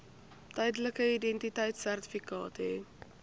tydelike identiteitsertifikaat hê